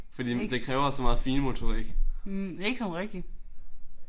Ikke hm ikke sådan rigtigt